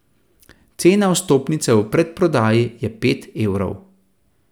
Cena vstopnice v predprodaji je pet evrov.